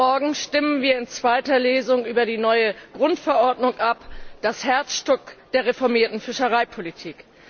Morgen stimmen wir in zweiter Lesung über die neue Grundverordnung ab, das Herzstück der reformierten Fischereipolitik.